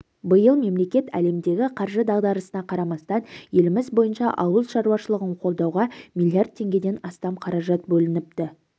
биыл мемлекет әлемдегі қаржы дағдарысына қарамастан еліміз бойынша ауыл шаруашылығын қолдауға миллиард теңгеден астам қаражат бөлініпті